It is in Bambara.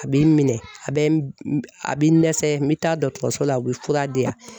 A b'i minɛ a bɛ a bɛ dɛsɛ me taa dɔgɔtɔrɔso la u bɛ fura di yan